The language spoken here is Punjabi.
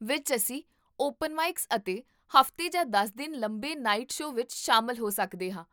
ਵਿਚ, ਅਸੀਂ ਓਪਨ ਮਾਈਕਸ ਅਤੇ ਹਫ਼ਤੇ ਜਾਂ ਦਸ ਦਿਨ ਲੰਬੇ ਨਾਈਟ ਸ਼ੋਅ ਵਿੱਚ ਸ਼ਾਮਲ ਹੋ ਸਕਦੇ ਹਾਂ